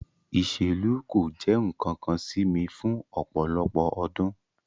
Iselu ko jẹ nkankan si mi fun ọpọlọpọ ọdun